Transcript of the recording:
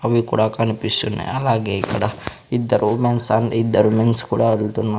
అవి కూడా కనిపిస్తున్నాయి అలాగే ఇక్కడ ఇద్దరు ఉమెన్స్ అండ్ ఇద్దరు మెన్స్ కూడా వెళ్తున్నా--